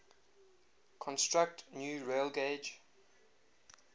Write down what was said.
construct new railgauge